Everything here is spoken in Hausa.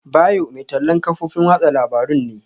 Bayo mai tallan kafofin watsa labarun ne.